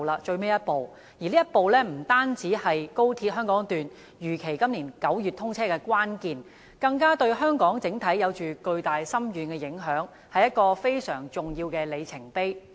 這一步不單是高鐵香港段如期在今年9月通車的關鍵，對香港整體而言更有着巨大、深遠的影響，是非常重要的里程碑。